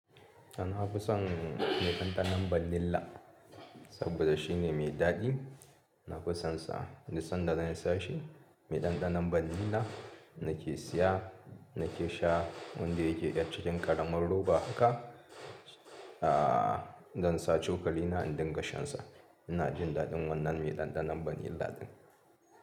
Na fi son mai ɗanɗanon vanilla saboda shine mai daɗi. Na fi son sa, duk sanda zan siya in sha shi, mai ɗanɗanon vanilla nake siya, nake sha wanda yake ɗan cikin ƙaramin roba haka. Zan sa cokali na in dinga shansa. Ina jin daɗin wannan mai ɗanɗanon ban lilla ɗin.